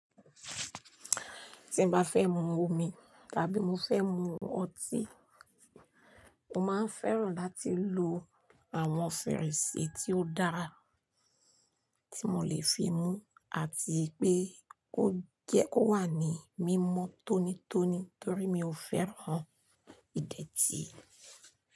Tí mbá fẹ́ mu omi, tàbí mo fẹ́ mu ọtí, mo máa ń fẹ́ràn láti lo àwọn fèrèsé tí ó dára tí mo lè fi mu àti pé ó jẹ́ ó wà ní mímọ́ tónítóní torí mi ò fẹ́ràn ìdẹ̀tì.